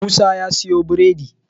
Musa ya siyo biredi